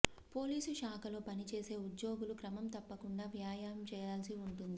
police శాఖలో పనిచేసే ఉద్యోగులు క్రమం తప్పకుండా వ్యాయామం చేయాల్సి ఉంటుంది